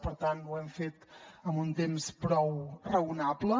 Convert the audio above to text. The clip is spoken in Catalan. per tant ho hem fent amb un temps prou raonable